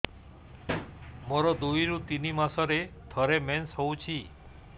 ମୋର ଦୁଇରୁ ତିନି ମାସରେ ଥରେ ମେନ୍ସ ହଉଚି